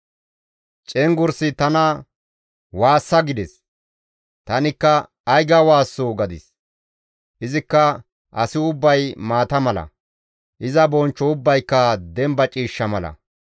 Cenggurssi tana, «Waassa!» gides. Tanikka, «Ay ga waassoo?» gadis. Izikka, «Asi ubbay maata mala; iza bonchcho ubbayka demba ciishsha mala.